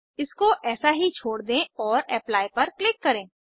इसको ऐसा ही छोड़ दें और एप्ली पर क्लिक करें